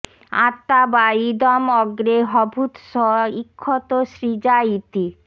আত্মা বা ইদম্ অগ্রে ঽভূত্ স ঈক্ষত সৃজা ইতি